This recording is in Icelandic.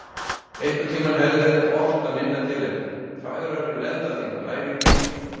Einhvern tíma hefði verið ort að minna tilefni: Fagrar eru lendar þínar, lærin hvít og.